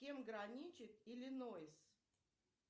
с кем граничит иллинойс